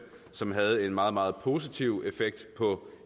som havde en meget meget positiv effekt på